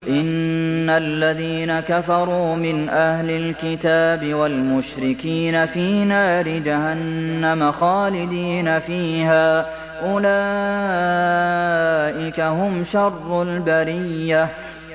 إِنَّ الَّذِينَ كَفَرُوا مِنْ أَهْلِ الْكِتَابِ وَالْمُشْرِكِينَ فِي نَارِ جَهَنَّمَ خَالِدِينَ فِيهَا ۚ أُولَٰئِكَ هُمْ شَرُّ الْبَرِيَّةِ